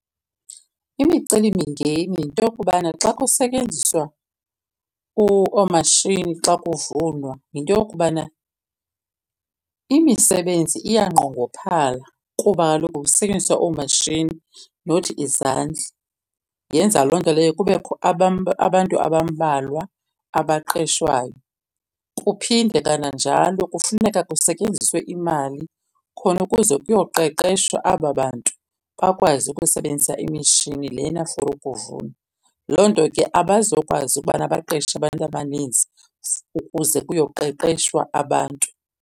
Imicelimingeni yinto yokubana xa kusetyenziswa oomashini xa kuvunwa yinto yokubana imisebenzi iyanqongophala kuba kaloku kusetyenziswa oomatshini nothi izandla. Yenza loo nto leyo kubekho abantu abambalwa abaqeshwayo. Kuphinde kananjalo kufuneka kusetyenziswe imali khona ukuze kuyoqeqeshwa aba bantu bakwazi ukusebenzisa imishini lena for ukuvuna. Loo nto ke abazokwazi ukubana baqeshe abantu abaninzi ukuze kuyoqeqeshwa abantu.